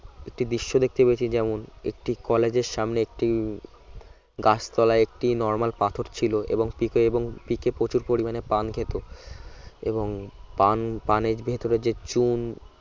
একটি দৃশ্য দেখতে পেয়েছি যেমন একটি কলেজের সামনে একটি গাছতলায় একটি normal পাথর ছিল এবং পিকে এবং পিকে প্রচুর পরিমানে পান খেত এবং পান পানের ভেতরে যে চুন